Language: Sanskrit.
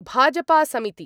भाजपासमिति